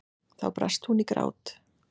Þá brast hún í grát.